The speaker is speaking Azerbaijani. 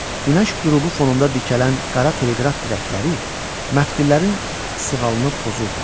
Günəş qrubu fonunda dikələn qara teleqraf dirəkləri məftillərin sığalını pozurdu.